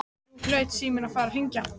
Nú hlaut síminn að fara að hringja.